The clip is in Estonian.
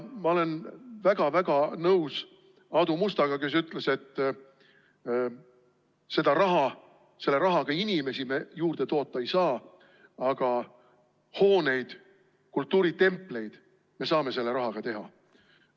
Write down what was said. Ma olen väga-väga nõus Aadu Mustaga, kes ütles, et selle rahaga me inimesi juurde toota ei saa, aga hooneid, kultuuritempleid, me saame selle rahaga teha.